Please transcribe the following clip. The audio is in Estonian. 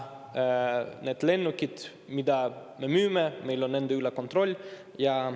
Nende lennukite üle, mida me müüme, meil on kontroll.